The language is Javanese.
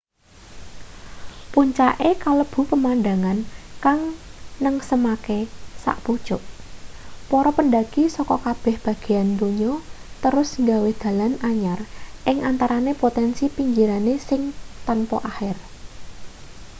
puncake kalebu pemandhangan kang nengsemake sak pucuk para pendaki saka kabeh bagean donya terus gawe dalan anyar ing antarane potensi pinggirane sing tanpa akhir